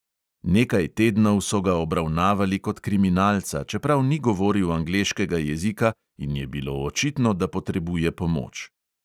Nekaj tednov so ga obravnavali kot kriminalca, čeprav ni govoril angleškega jezika in je bilo očitno, da potrebuje pomoč.